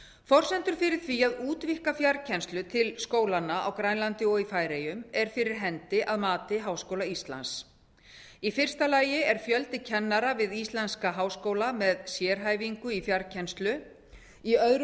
forsendur fyrir því að útvíkka fjarkennslu til skólanna á grænlandi og í færeyjum er fyrir hendi að mati háskóla íslands í fyrsta lagi er fjöldi kennara við íslenska háskóla með sérhæfingu í fjarkennslu í öðru